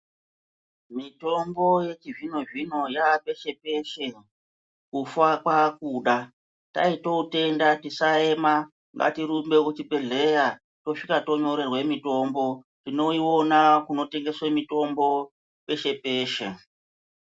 Mitombo yechizvino zvino yaapeshe peshe kufa kwaakuda taitoutenda tisaema ngatirunbe kuchibhedleya Tosvika tonyorerwe mutombo tinoiona kunotengeswe mutombo peshe peshe.